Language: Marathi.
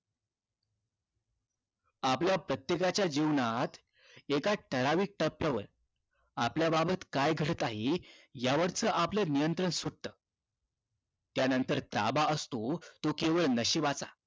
आपल्या प्रत्येकाच्या जीवनात एका ठराविक तत्वावर आपल्या बाबत काय घडत आहे यावरच आपलं नियंत्रण सुटत त्यानंतर ताबा असतो तो फक्त नशिबाचा